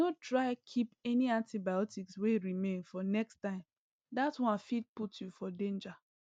no try keep any antibiotics wey remain for next time that one fit put you for danger